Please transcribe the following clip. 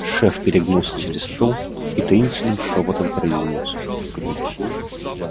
шеф перегнулся через стол и таинственным шёпотом произнёс